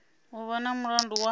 u vha na mulandu wa